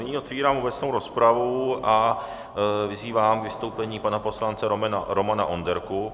Nyní otevírám obecnou rozpravu a vyzývám k vystoupení pana poslance Romana Onderku.